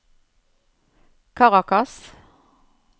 Caracas